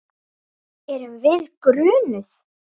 Erum við grunuð?